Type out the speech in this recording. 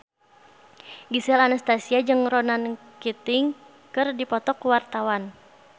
Gisel Anastasia jeung Ronan Keating keur dipoto ku wartawan